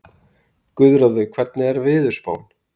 Guðráður, hvernig er veðurspáin?